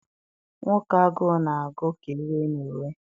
Nwoke agụ na agụ ka iwe na ewe.